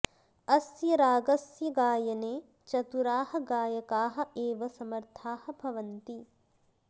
अस्य रागस्य गायने चतुराः गायकाः एव समर्थाः भवन्ति